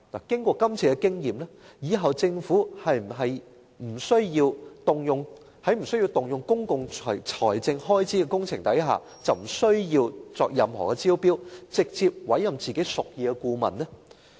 經過今次的經驗，是否政府以後針對不需要動用公共財政開支的工程，便可不需要作任何招標，直接委任自己屬意的顧問呢？